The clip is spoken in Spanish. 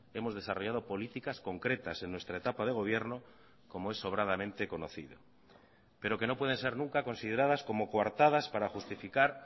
hemos desarrollado políticas concretas en nuestra etapa de gobierno como es sobradamente conocido pero que no pueden ser nunca consideradas como coartadas para justificar